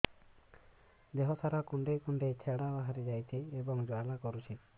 ଦେହ ସାରା କୁଣ୍ଡେଇ କୁଣ୍ଡେଇ ଛେଡ଼ା ଛେଡ଼ା ବାହାରି ଯାଉଛି ଏବଂ ଜ୍ୱାଳା କରୁଛି